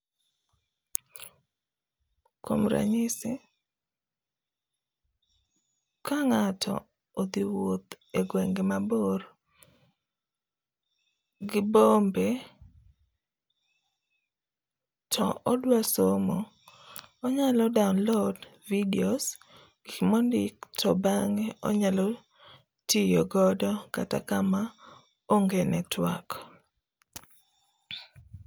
Kuom ranyisi, kang'ato odhi wuoth egwenge mabor gibombe to odwa somo, onyalo download videos, gik mondik to bang'e onyalo tiyo godo kata kama onge network'